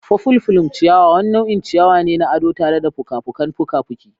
Purple plume ciyawa wani nau'in ciyawa ne na ado tare da fuka-fukan fuka-fuki.